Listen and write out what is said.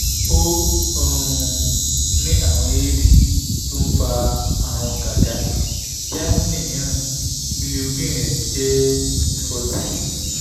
mo um ní àrùn éèdì tó ń fa àrùn gágá kíá ni míràn bilirubin ń jẹ́ fourteen